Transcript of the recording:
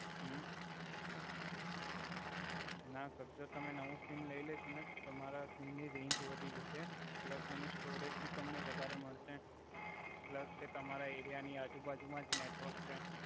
હુ ના સર જો તમે નવુ સિમ લઈ લેસો ને તો તમારા સિમ ની રેંજ વધી જસે પ્લસ એની સ્ટોરેજ ભી તમને વધારે મડસે પ્લસ કે તમારા એરિયા ની આજુ બાજુ મા જ નેટવર્ક છે.